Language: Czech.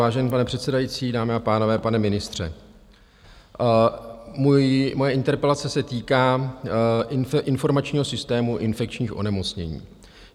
Vážený pane předsedající, dámy a pánové, pane ministře, moje interpelace se týká Informačního systému infekčních onemocnění.